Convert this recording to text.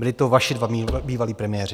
Byli to vaši dva bývalí premiéři.